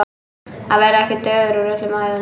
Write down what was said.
Að vera ekki dauður úr öllum æðum